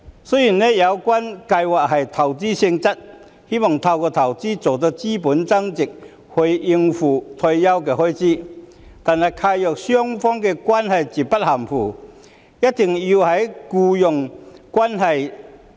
雖然有關計劃屬投資性質，希望透過投資令資本增值以應付退休開支，但契約雙方的關係絕不含糊，必須存在僱傭關係。